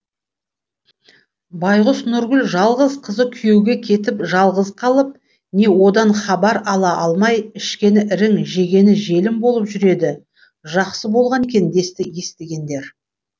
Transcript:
байқұс нұргүл жалғыз қызы күйеуге кетіп жалғыз қалып не одан хабар ала алмай ішкені ірің жегені желім болып жүр еді жақсы болған екен десті естігендер